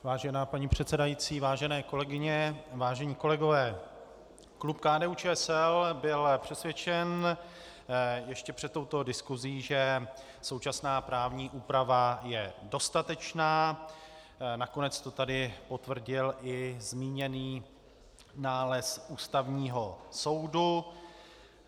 Vážená paní předsedající, vážené kolegyně, vážení kolegové, klub KDU-ČSL byl přesvědčen ještě před touto diskusí, že současná právní úprava je dostatečná, nakonec to tady potvrdil i zmíněný nález Ústavního soudu.